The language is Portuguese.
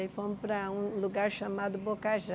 Aí fomos para um lugar chamado Bocajá.